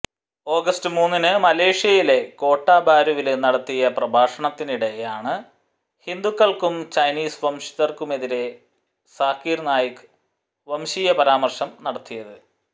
August മൂന്നിന് മലേഷ്യയിലെ കോട്ട ബാരുവില് നടത്തിയ പ്രഭാഷണത്തിനിടെയാണ് ഹിന്ദുക്കള്ക്കും ചൈനീസ് വംശജര്ക്കുമെതിരേ സാക്കിര് നായിക്ക് വംശീയപരാമര്ശം നടത്തിയത്